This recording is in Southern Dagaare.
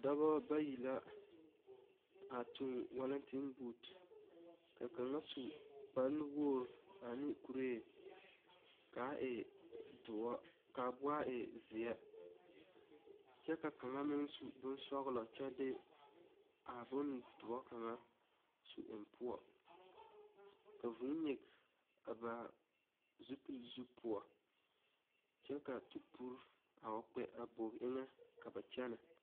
Dɔba bayi la a toŋ walenten booti, ka kaŋa su kpar nuwogiri ka a e doɔre kyɛ ka kaŋa. meŋ su bon sɔglɔ kyɛ de a bon doɔre kaŋa su eŋ poɔ ka vʋʋ nyigi a ba zupili poɔ. kyɛ ka tupori a wa kpɛ a bogi eŋɛ ka ba kyɛne.